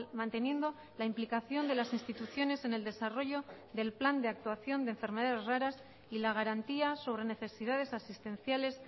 manteniendo la implicación de las instituciones en el desarrollo del plan de actuación de enfermedades raras y la garantía sobre necesidades asistenciales